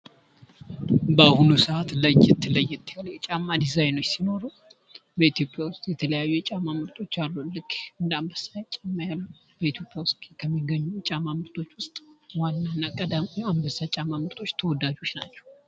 በአሁኑ ሰዓት ለየት ለየት ያሉ የጫማ ዲዛይኖች ሲኖሩ በኢትዮጵያ ውስጥ የተለያዩ የጫማ ምርቶች አሉ ልክ እንደ አንበሳ ጫማ ያሉ በኢትዮጵያ ውስጥ ከሚገኙ ጫማ ምርቶች ውስጥ ዋና እና ቀዳማይ ነው። አንበሳ ጫማ ምርቶች ተወዳጅ ነው።